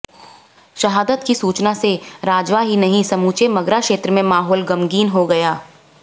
शहादत की सूचना से राजवा ही नहीं समूचे मगरा क्षेत्र में माहौल गमगीन हो गया